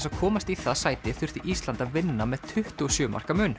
að komast í það sæti þurfti Ísland að vinna með tuttugu og sjö marka mun